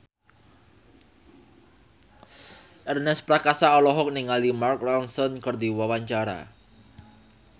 Ernest Prakasa olohok ningali Mark Ronson keur diwawancara